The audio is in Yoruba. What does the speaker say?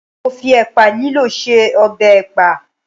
Mo fi ẹ̀pà lílọ̀ ṣe ọbẹ̀ ẹ̀pà.